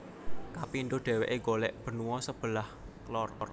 Kapindo deweke golek benua sebelah lor